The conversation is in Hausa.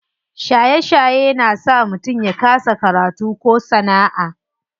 Shaye shaye na saka mutum ya kasa karatu ko sana'a.